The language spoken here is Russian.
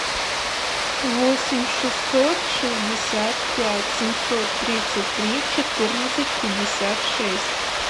восемь шестьсот шестьдесят пять семьсот тридцать три четырнадцать пятьдесят шесть